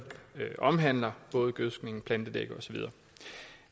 omhandler både gødskning plantedække og så videre